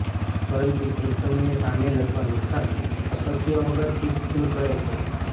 પરંતુ તે જ સમયે સામેલ અથવા નુકસાન અશક્ય વગર શીટ્સ દૂર કરે છે